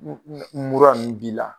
mura nunnu b'i la.